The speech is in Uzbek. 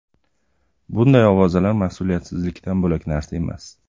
Bunday ovozalar mas’uliyatsizlikdan bo‘lak narsa emas.